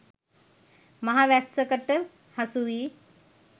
මහ වැස්සකට හසුවී